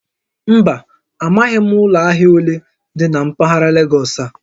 Mba, amaghim ulo ahia ole di na mpaghara Legọsị a